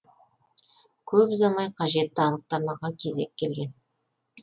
көп ұзамай қажетті анықтамаға кезек келген